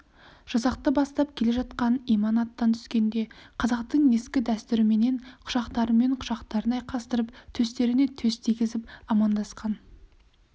жасақты бастап келе жатқан иман аттан түскенде қазақтың ескі дәстүріменен құшақтарымен құшақтарын айқастырып төстеріне төс тигізіп амандасқан